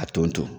A tonton